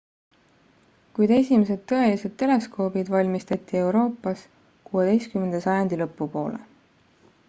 kuid esimesed tõelised teleskoobid valmistati euroopas 16 sajandi lõpu poole